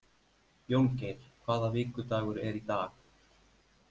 Jóngeir, hvaða vikudagur er í dag?